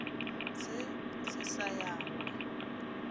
se se sa ya go